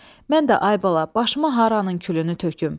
Mən də ay bala, başıma haranın külünü töküm?